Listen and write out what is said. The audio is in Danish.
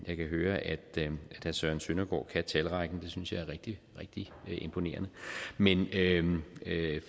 jeg kan høre at herre søren søndergaard kan talrækken det synes jeg er rigtig rigtig imponerende men